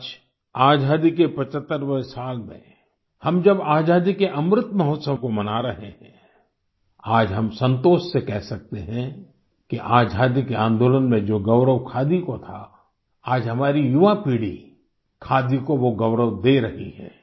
आज आज़ादी के 75वें साल में हम जब आज़ादी के अमृत महोत्सव को मना रहे हैं आज हम संतोष से कह सकते हैं कि आज़ादी के आंदोलन में जो गौरव खादी को था आज हमारी युवा पीढ़ी खादी को वो गौरव दे रही है